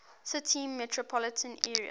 city metropolitan area